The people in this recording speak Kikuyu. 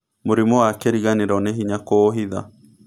Mũrimũ wa kĩriganĩro nĩ hĩnya kũũhitha.